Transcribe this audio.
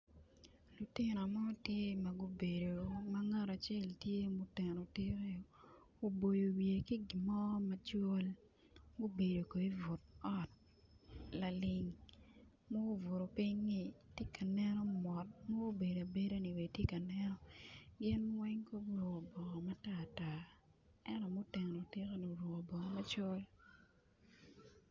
Lutino mo tye ma gubedo ma ngat acel tye muteno tikke oboyo wiye ki gin mo macol gubedo kono i but ot laling ma gubuto piny-nyi ti ka neno mot mubedo abeda-ni bene ti ka neno weng guruku bongo matartar ento mu teno tikke-ni oruku bongo macol